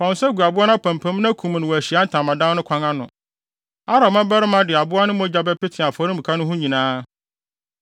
fa wo nsa gu aboa no apampam na kum no wɔ Ahyiae Ntamadan no kwan ano. Aaron mmabarima de aboa no mogya bɛpete afɔremuka no ho nyinaa.